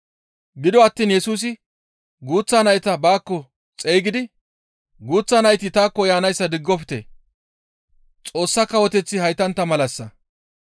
Gido attiin Yesusi guuththa nayta baakko xeygidi, «Guuththa nayti taakko yaanayssa diggofte; Xoossa kawoteththi haytantta malassa.